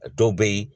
A dɔw bɛ yen